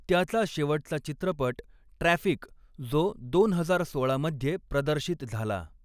त्याचा शेवटचा चित्रपट 'ट्रॅफिक', जो दोन हजार सोळा मध्ये प्रदर्शित झाला.